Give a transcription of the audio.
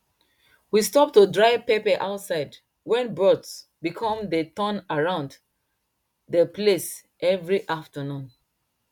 we stop to dry pepper outside wen birds become dey turn around dey place every afternoon